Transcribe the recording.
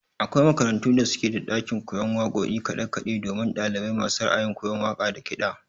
Akwai makarantu da suke da ɗakin koyon waƙoƙi da kaɗe kaɗe domin ɗalibai masu ra'ayin koyan waƙa da kiɗa.